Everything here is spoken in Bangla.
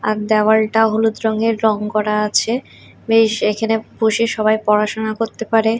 আর দেওয়ালটা হলুদ রঙের রং করা আছে বেশ এখানে বসে সবাই পড়াশোনা করতে পারে।